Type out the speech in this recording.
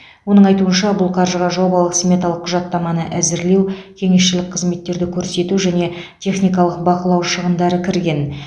оның айтуынша бұл қаржыға жобалық сметалық құжаттаманы әзірлеу кеңесшілік қызметтерді көрсету және техникалық бақылау шығындары кірген